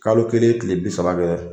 Kalo kelen kile bi saba kɛ